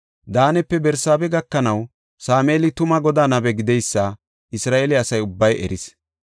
Daanepe Barsaabe gakanaw, Sameeli tuma Godaa nabe gideysa Isra7eele asa ubbay eris.